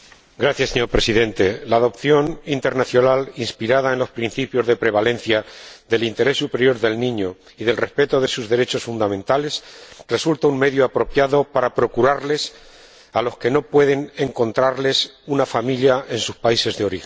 Señor Presidente, la adopción internacional inspirada en los principios de prevalencia del interés superior del niño y del respeto de sus derechos fundamentales resulta un medio apropiado para procurar una familia a los que no se les puede encontrar una familia en sus países de origen.